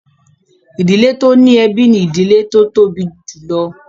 Ìdílé tó ní ẹbí ni ìdílé tó tóbi jùlọ